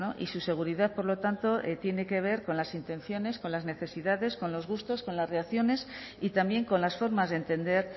y su seguridad por lo tanto tiene que ver con las intenciones con las necesidades con los gustos con las reacciones y también con las formas de entender